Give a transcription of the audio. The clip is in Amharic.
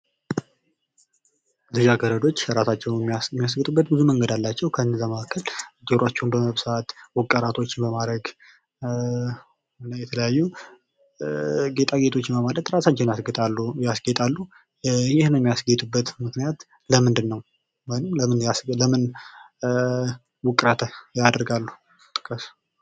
ልጃ ገረዶች እራሳቸዉን የሚያስጌጡበት ብዙ መንገድ አላቸዉ። ከእነዚያ መካከል ጆሯቸዉን በመብሳት፣ ዉቅራቶችን በማድረግ እና የተለያዩ ጌጣጌጦችን በማድረግ ራሳቸዉን ያስጌጣሉ። ይህ የሚያስጌጡበት ምክንያት ለምንድን ነዉ? ወይም ለምን ዉቅራት ያደርጋሉ?